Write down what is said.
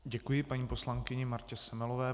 Děkuji paní poslankyni Martě Semelové.